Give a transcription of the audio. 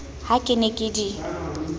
ha ke ne ke di